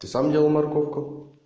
ты сам делал морковку